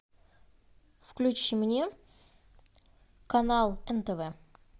включи мне канал нтв